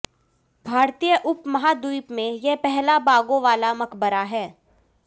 भारतीय उप महाद्वीप में यह पहला बागों वाला मकबरा है